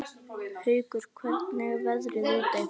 Haukur, hvernig er veðrið úti?